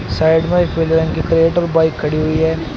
Side में एक bike खड़ी हुई है।